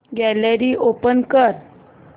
gallery open कर